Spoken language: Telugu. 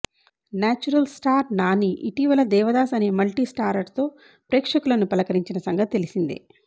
నేచురల్ స్టార్ నాని ఇటీవల దేవదాస్ అనే మల్టీ స్టారర్తో ప్రేక్షకులని పలకరించిన సంగతి తెలిసిందే